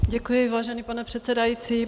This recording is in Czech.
Děkuji, vážený pane předsedající.